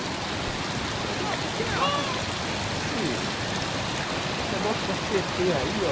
Ele falou, ah, porque esse negócio da cê tê aí, ó,